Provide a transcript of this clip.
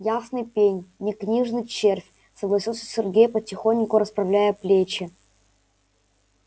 ясный пень не книжный червь согласился сергей потихоньку расправляя плечи